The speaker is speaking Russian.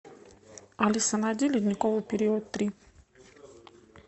алиса найди ледниковый период три